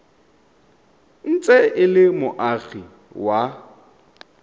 ntse e le moagi wa